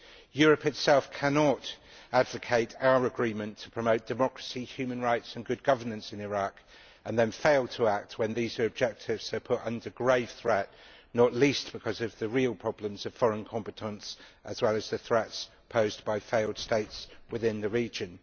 Europe itself cannot advocate our agreement to promote democracy, human rights and good governance in Iraq and then fail to act when these objectives are put under grave threat, not least because of the real problems of foreign competence, as well as the threats posed by failed states within the region.